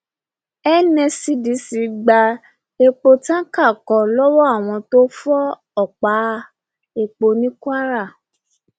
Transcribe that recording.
nscdc gba epo táǹkà kan lọwọ àwọn tó ń fọ ọpá epo ní kwara